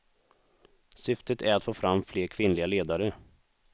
Syftet är att få fram fler kvinnliga ledare.